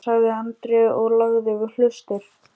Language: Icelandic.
sagði Andri og lagði við hlustir.